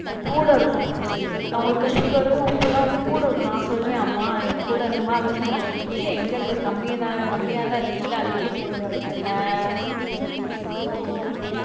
கூட இருக்கும். அவங்களுக்கு sugar ரு, உப்புலாம் வந்து கூட இருக்கணும். நான் சொல்வேன் அம்மா கூட இருக்குமா, அப்படின்னு சொன்னா இல்ல எங்க இருக்கு? கம்மியா தான் இருக்கு சொல்லி அள்ளி அள்ளி போட்டுருவாங்க. அஹ் உம்